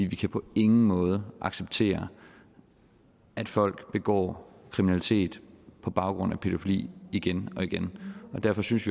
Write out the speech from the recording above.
vi kan på ingen måde acceptere at folk begår kriminalitet på baggrund af pædofili igen og igen og derfor synes